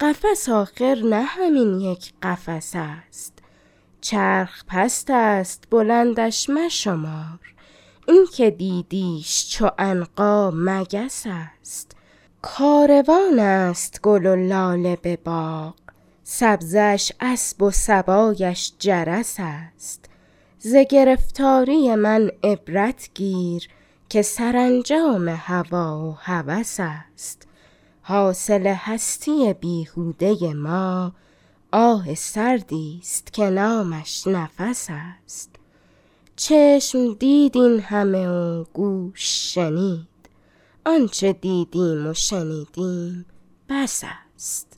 قفس آخر نه همین یک قفس است چرخ پست است بلندش مشمار اینکه دیدیش چو عنقا مگس است کاروان است گل و لاله بباغ سبزه اش اسب و صبایش جرس است ز گرفتاری من عبرت گیر که سرانجام هوی و هوس است حاصل هستی بیهوده ما آه سردی است که نامش نفس است چشم دید این همه و گوش شنید آنچه دیدیم و شنیدیم بس است